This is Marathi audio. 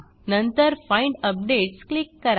नंतर फाइंड अपडेट्स क्लिक करा